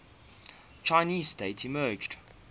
chinese state emerged